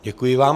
Děkuji vám.